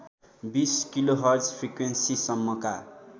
२० kilohertz फ्रिक्वेन्सिसम्मका